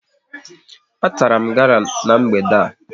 A tara m gala n'mgbede a